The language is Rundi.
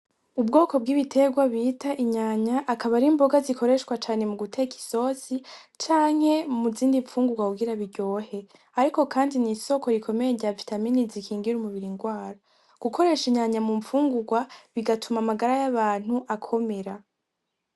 Ubwoko bw'ibitegwa bita inyanya akaba arimboga zikoreshwa cane muguteka isosi canke muzindi mfungugwa kugira biryohe ariko kandi n'isoko rikomeye ryavitamine zikingira umubiri ingwara, gukoresha inyanya mumfungugwa bigatuma amagara y'abantu akomera.